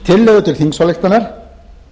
tillögu til þingsályktunar